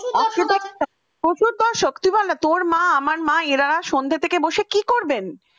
শোন না তোর মা আমার মা এরা সন্ধ্যা থেকে বসে কি করবেন?